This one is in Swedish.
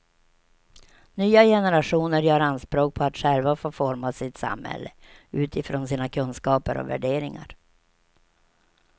Nya generationer gör anspråk på att själva få forma sitt samhälle utifrån sina kunskaper och värderingar.